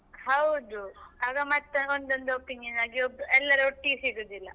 ಹೌದು ಆಗ ಮತ್ತೆ ಒಂದೊಂದು opinion ಆಗಿ ಒಬ್~ ಎಲ್ಲರೂ ಒಟ್ಟಿಗೆ ಸಿಗುದಿಲ್ಲ.